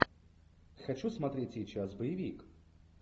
хочу смотреть сейчас боевик